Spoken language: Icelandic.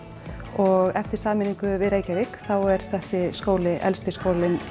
og eftir sameiningu við Reykjavík er þessi skóli elsti skólinn